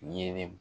Ɲɛnɛ